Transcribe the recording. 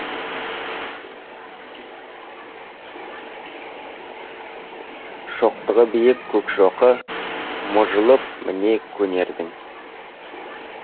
шоқтығы биік көк шоқы мұжылып міне көнердің